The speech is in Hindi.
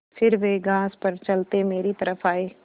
फिर वे घास पर चलते मेरी तरफ़ आये